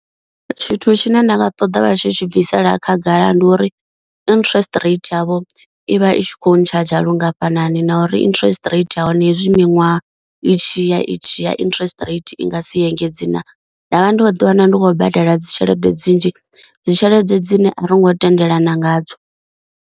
Tshithu tshine nda nga ṱoḓa vha tshi tshi bvisela khagala ndi uri interest rate yavho i vha i tshi kho ntshadzha lungafhani na uri interest rate ya hone hezwi miṅwaha i tshiya itshi ya interest rate i nga si engedze na, nda vha ndo ḓi wana ndi khou badela dzi tshelede dzi nnzhi dzi tshelede dzine a ri ngo tendelana nga dzo.